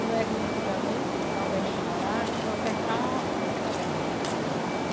Não é que nem antigamente, lá onde a gente morava, que só cercava a roça que ia trabalhar.